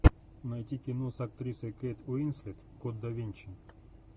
найти кино с актрисой кейт уинслет код да винчи